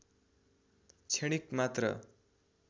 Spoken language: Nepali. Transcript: क्षणिक मात्र